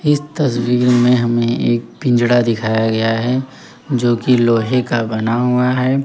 इस तस्वीर में हमें एक पिंजड़ा दिखाया गया है जो की लोहे का बना हुआ है।